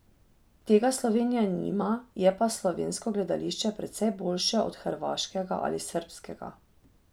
Tega Slovenija nima, je pa slovensko gledališče precej boljše od hrvaškega ali srbskega.